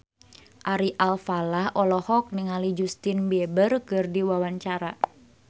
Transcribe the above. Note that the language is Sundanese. Ari Alfalah olohok ningali Justin Beiber keur diwawancara